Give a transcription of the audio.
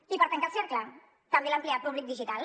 i per tancar el cercle també l’empleat públic digital